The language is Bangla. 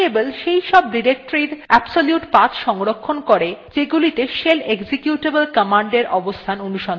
path path variable সেই সব ডিরেক্টরীর এর absolute path সংরক্ষণ করে যেগুলিতে shell executable command এর অবস্থান অনুসন্ধান করে